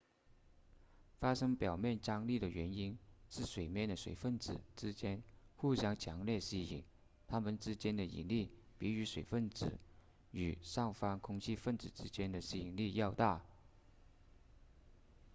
发生表面张力的原因是水面的水分子之间互相强烈吸引它们之间的引力比与水分子与上方空气分子之间的吸引力要大